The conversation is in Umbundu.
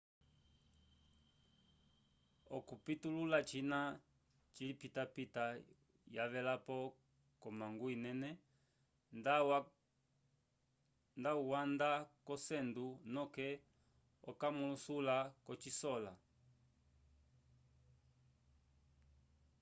okipitulula cina cilipitapita wavelapo ko mangu inene nda wanda ko cendo noke okamalusula kosikola